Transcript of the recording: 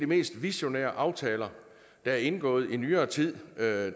mest visionære aftaler der er indgået i nyere tid da